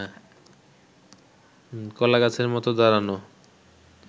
কলাগাছের মত দাঁড়ানো